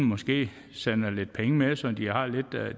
måske sender lidt penge med så de har lidt